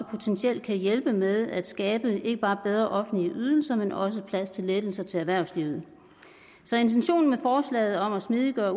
potentielt kan hjælpe med at skabe ikke bare bedre offentlige ydelser men også plads til lettelser til erhvervslivet så intentionen med forslaget om at smidiggøre